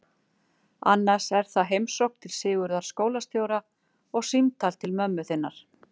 Annars er það heimsókn til Sigurðar skólastjóra og símtal til mömmu þinnar.